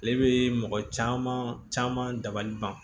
Ale bɛ mɔgɔ caman dabali ban